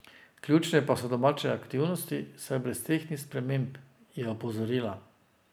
Ključne pa so domače aktivnosti, saj brez teh ni sprememb, je opozorila.